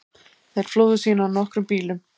Þeir flúðu síðan á nokkrum bílum